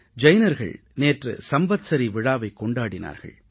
ஜைனர்கள் நேற்று சம்வத்ஸரீ விழாவைக் கொண்டாடினார்கள்